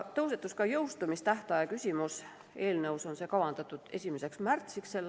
Tõusetus ka jõustumistähtaja küsimus, eelnõus on see kavandatud 1. märtsiks s.